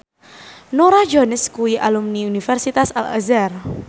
Norah Jones kuwi alumni Universitas Al Azhar